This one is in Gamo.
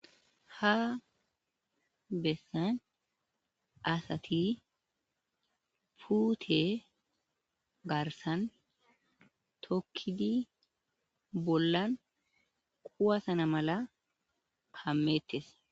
Ha bessan asathi puuthe garssan tokkidi bollan kuwaththana mala kammeeththees.